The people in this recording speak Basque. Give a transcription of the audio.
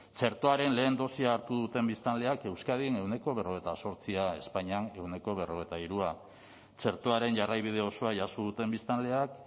txertoaren lehen dosia hartu duten biztanleak euskadin ehuneko berrogeita zortzia espainian ehuneko berrogeita hirua txertoaren jarraibide osoa jaso duten biztanleak